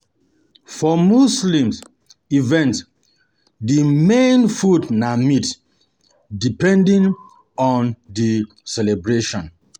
For muslim events, di main food na meat depending on di celebration